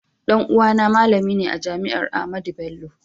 Ɗan uwa na malami ne a jami'ar Ahmadu Bello